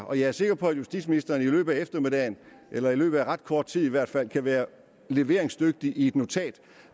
og jeg er sikker på at justitsministeren i løbet af eftermiddagen eller i løbet af ret kort tid i hvert fald kan være leveringsdygtig i et notat